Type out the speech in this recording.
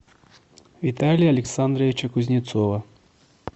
виталия александровича кузнецова